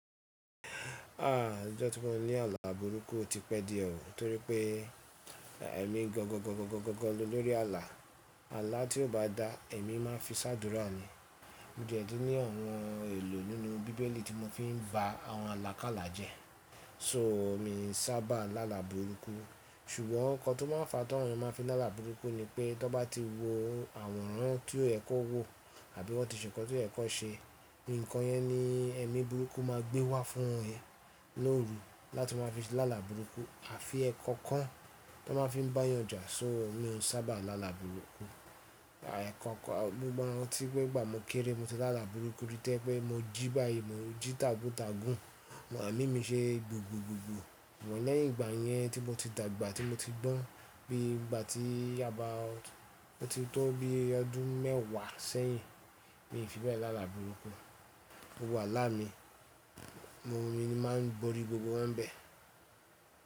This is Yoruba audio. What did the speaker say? Ah! Ìjọ tí mo ní àlà burúkú ò ti pẹ́ díẹ̀ o tórí pé ẹ̀mi gan gan gan gan gan lolórí àlà. Àlà tí ò bá dá ẹ̀mi máa fi ṣàdúrà ni. Mo dẹ̀ ti ní àwọn èlò nínú bíbélì tí mo fi ń bà àwọn alákàlà jẹ́. So mi sábà lálà borúkú ṣùgbọ́n nǹkan tó máa ń fa tí àwọn èèyàn máa ń fi lálà burúkú ni pé tán bá ti wo àwòrán tí ò yẹ kó wò àbí wọ́n ti ṣe nǹkan tí ò yẹ kan ṣe, nǹkan yẹn ni ẹ̀mi burúkú máa gbé wá fún ẹ lóru láti máa fi lálà burúkú. Àfi ẹ́kọ́kan tó máa ń fi bá yànjà so mi ò sábà lálà borúkú. Àìkọ̀kọ̀ gbogbo àwọn tí pé gbà mo kéré mo ti lálà burúkú rí tó jẹ́ pé mo jí báyìí mo jí taguntagun, màámi mi ṣe gbogbogbò. Ṣùgbọ́n lẹ́yìn ìgbà yẹn tí mo ti dàgbà tí mo ti gbọ́n bí i ìgbà tí àba ti tó bí i ọdún mẹ́ẹ̀wá sẹ́yìn mi ò fi bẹ́ẹ̀ lálà borúkú. Gbogbo àlá mi, mo mi máa ń borí gbogbo wọ́n n bẹ̀.